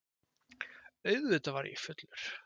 Auðvitað var ég fullur.